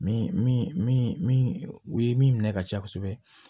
Min min min min u ye min minɛ ka caya kosɛbɛ